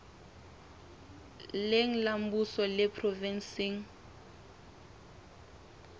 leng la mmuso le provenseng